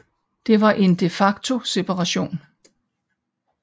Det var en de facto separation